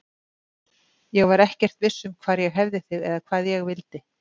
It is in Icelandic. Ég var ekkert viss um hvar ég hefði þig eða hvað ég vildi.